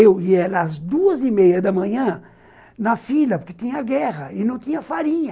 Eu ia nas duas e meia da manhã, na fila, porque tinha guerra e não tinha farinha.